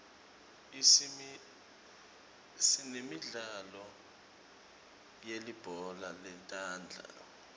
sinemidlalo yelibhola letandla